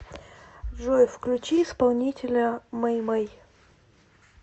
джой включи исполнителя мэй мэй